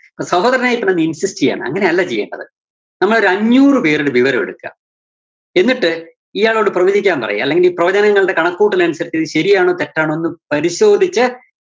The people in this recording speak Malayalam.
അപ്പോ സഹോദരന്‍ അയ്യപ്പനൊന്ന് insist ചെയ്യാണ്. അങ്ങനെയല്ല ചെയ്യണ്ടത്. നമ്മളൊരു അഞ്ഞൂറുപേരുടെ വിവരെടുക്കുക, എന്നിട്ട് ഇയാളോട് പ്രവചിക്കാന്‍ പറയാ അല്ലെങ്കില്‍ ഈ പ്രവചനങ്ങളുടെ കണക്കുകൂട്ടലനുസരിച്ച് ഇത് ശരിയാണോ തെറ്റാണോന്ന് പരിശോധിച്ച്